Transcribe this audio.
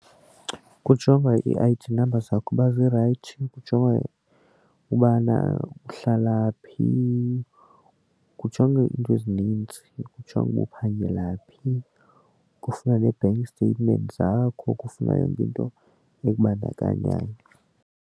Kujongwa ii-I_D number zakho uba zirayithi, kujongwe ubana uhlala phi, kujongwe iinto ezininzi kujongwe uba uphangela phi, kufunwa ne-bank statement zakho kufunwa yonke into ekubandakanyayo.